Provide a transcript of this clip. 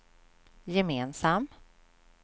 gemensam